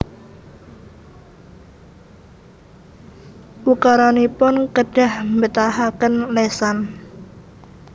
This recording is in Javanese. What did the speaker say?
Ukaranipun kedah mbetahaken lesan